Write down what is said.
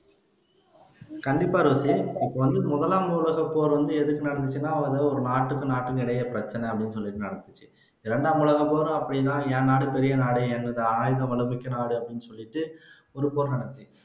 கண்டிப்பா ரோஸி முதலாம் உலகப்போர் வந்து எதுக்கு நடந்துச்சுன்னா அது ஒரு நாட்டுக்கும் நாட்டுக்கும் இடையே பிரச்சினை அப்படின்னு சொல்லிருந்தாலும் இரண்டாம் உலகப்போரும் அப்படின்னா என் நாடு பெரிய நாடு என்னது ஆயுத பலம் மிக்க நாடு அப்படின்னு சொல்லிட்டு